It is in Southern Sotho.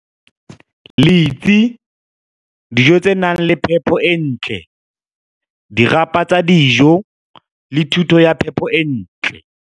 Letsi, dijo tse nang le phepo e ntle, dirapa tsa dijo le thuto ya phepo e ntle.